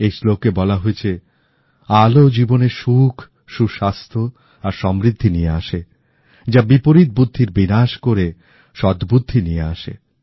এই শ্লোকে বলা হয়েছে আলো জীবনে সুখ সুস্বাস্থ্য আর সমৃদ্ধি নিয়ে আসে যা বিপরীত বুদ্ধির বিনাশ করে সদ্বুদ্ধি নিয়ে আসে